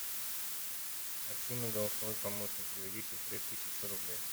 афина голосовой помощник переведи сестре тысячу рублей